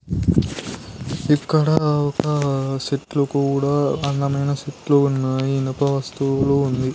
ఇక్కడ ఒక సీట్లు కూడా అందమైన సీట్లు ఉన్నాయి ఇనుప వస్తువులు.